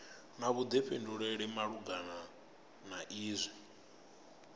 na vhuḓifhinduleli malugana na izwi